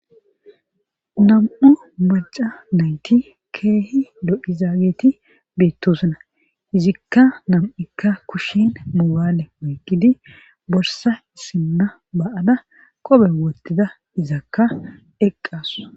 Nam7u maca nayti keehi do7izaageti beettosuna izikka nam7ikka kushshin mugaale moyqqidi borsa isimma ba7ada qobe wottida izakka eqqasu.